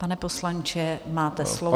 Pane poslanče, máte slovo.